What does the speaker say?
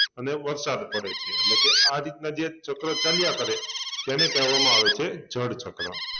અને વરસાદ પડે છે એટલે કે આ રીતના જે ચક્ર ચાલ્યા કરે તેને કહેવામાં આવે છે જળચક્ર